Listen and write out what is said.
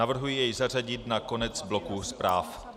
Navrhuji jej zařadit na konec bloku zpráv.